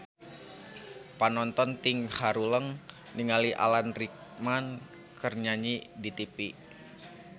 Panonton ting haruleng ningali Alan Rickman keur nyanyi di tipi